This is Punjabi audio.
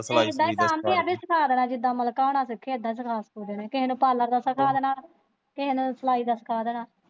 ਇਦਾ ਹੀ ਸਿਖਾ ਸਿਖੁ ਦੇਣਾ ਜਿਦਾ ਮਲਿਕਾ ਹੁਣਾ ਨੇ ਸਿੱਖਿਆ ਇਦਾ ਹੀ ਸਿਖਾ ਸਿਖੁ ਦੇਣਾ ਕਿਸੇ ਨੂੰ parlor ਦਾ ਸਿੱਖਾ ਦੇਣਾ ਕਿਸੇ ਨੂੰ ਸਲਾਈ ਦਾ ਸਿੱਖਾ ਦੇਣਾ।